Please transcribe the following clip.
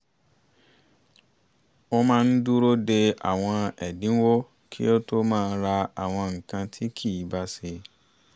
ó máa ń dúró dé àwọn ẹ̀dínwó kí ó tó máa ra àwọn nǹkan tí kì í bá ṣe